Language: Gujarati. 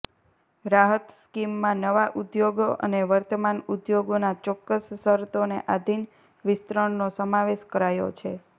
રાહત સ્કીમમાં નવા ઉદ્યોગો અને વર્તમાન ઉદ્યોગોના ચોક્કસ શરતોને આધિન વિસ્તરણનો સમાવેશ કરાયો છે